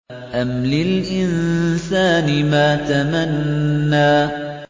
أَمْ لِلْإِنسَانِ مَا تَمَنَّىٰ